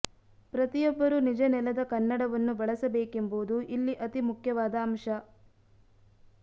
ಪ್ರತಿಯೊಬ್ಬರೂ ನಿಜ ನೆಲದ ಕನ್ನಡವನ್ನು ಬಳಸಬೇಕೆಂಬುದು ಇಲ್ಲಿ ಅತಿ ಮುಖ್ಯವಾದ ಅಂಶ